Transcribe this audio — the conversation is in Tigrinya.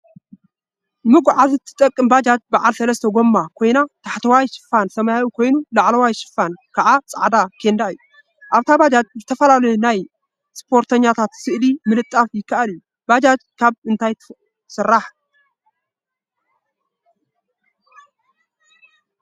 ባጃጅ ንመጎዓዓዚ ትጠቅም ባጃጅ በዓል ሰለስተ ጎማ ኮይና ታሕተዋይ ሽፋና ሰማያዊ ኮይኑ ላዕለዋይ ሽፋና ከዓ ፃዕዳ ኬንዳ እዩ፡፡ አብታ ባጃጅ ዝተፈላለዩ ናይ እስፖርተኛታት ስእሊ ምልጣፍ ይከአል እዩ፡፡ ባጃጅ ካብ እንታይ ትስራሕ?